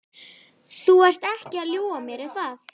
Þú ert ekki að ljúga að mér, er það?